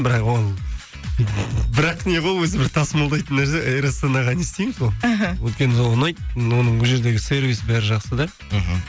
бірақ ол бірақ не ғой өзі бір тасымалдайтын нәрсе эйр астанаға не істейміз ғой іхі өйткені ұнайды оның ол жердегі сервисі бәрі жақсы да мхм